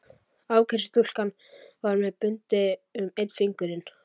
Afgreiðslustúlkan var með bundið um einn fingurinn.